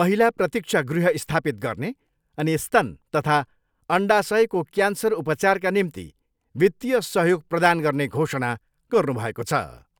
महिला प्रतिक्षा गृह स्थापित गर्ने अनि स्तन तथा अण्डासयको क्यान्सर उपचारका निम्ति वित्तिय सहयोग प्रदान गर्ने घोषणा गर्नुभएको छ।